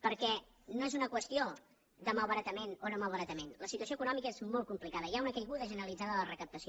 perquè no és una qüestió de malbaratament o no malbaratament la situació econòmica és molt complicada hi ha una caiguda generalitzada de la recaptació